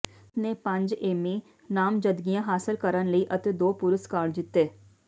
ਇਸਨੇ ਪੰਜ ਏਮੀ ਨਾਮਜ਼ਦਗੀਆਂ ਹਾਸਲ ਕਰਨ ਲਈ ਅਤੇ ਦੋ ਪੁਰਸਕਾਰ ਜਿੱਤੇ